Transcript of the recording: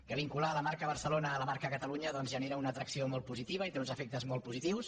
que vincular la marca barcelona a la marca catalunya doncs genera una atracció molt positiva i té uns efectes molt positius